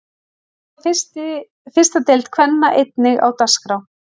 Þá er fyrsta deild kvenna einnig á dagskrá.